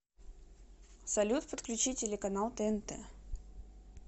салют подключи телеканал тнт